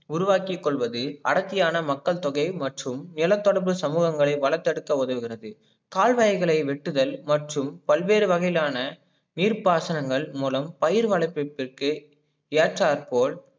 உருவாக்கி கொள்வது அடர்த்தியான மக்கள் தொகை அனைத்தும் இள தடுப்பு சமூகங்களை வள தடுக்க உதவுகிறது கால்வாய்களை வெட்டுதல் மற்றும் பல்வேறு வகையிலான நீர்பாசலங்கள் மூலம் பயிர் வளபித்தளுக்கு ஏற்றால்போல்